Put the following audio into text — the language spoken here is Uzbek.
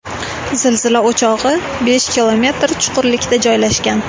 Zilzila o‘chog‘i besh kilometr chuqurlikda joylashgan.